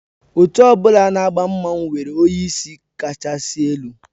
Otu ọ bụla na agba mmanwụ nwere onyeisi kachasị elu